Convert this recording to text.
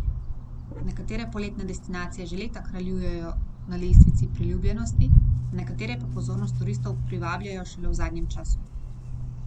Nekatere poletne destinacije že leta kraljujejo na lestvicah priljubljenosti, nekatere pa pozornost turistov privabljajo šele v zadnjem času.